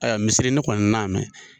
Ayiwa misiri ne kɔni na mɛ